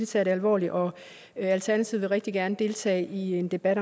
tager det alvorligt og alternativet vil rigtig gerne deltage i en debat